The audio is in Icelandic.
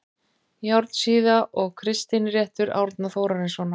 Járnsíða og Kristinréttur Árna Þórarinssonar